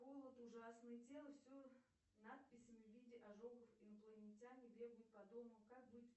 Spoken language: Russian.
холод ужасный тело все надписями в виде ожогов инопланетяне бегают по дому как быть